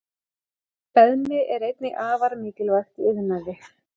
Beðmi er einnig afar mikilvægt í iðnaði.